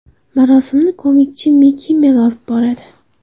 Marosimni komik Jimmi Kimmel olib boradi.